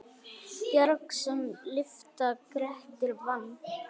Bjarg sem lyfta Grettir vann.